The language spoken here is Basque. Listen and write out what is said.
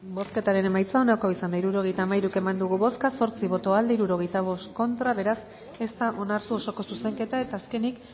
bozketaren emaitza onako izan da hirurogeita hamairu eman dugu bozka zortzi boto aldekoa sesenta y cinco contra beraz ez da onartu osoko zuzenketa eta azkenik